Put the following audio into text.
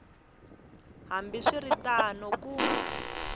hambi swi ri tano ku